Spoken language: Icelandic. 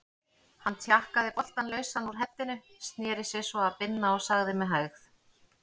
Hann tjakkaði boltann lausan úr heddinu, sneri sér svo að Binna og sagði með hægð